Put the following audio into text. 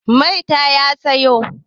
Mai ta sayo?